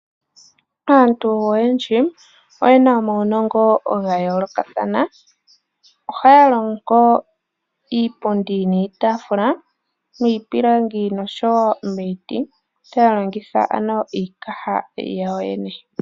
Aantu oyendji oyena omaunongo ga yoolokathana ohaya longo iipundi niitafula miipilangi nomiiti taya longitha iikaha yawo yoyene.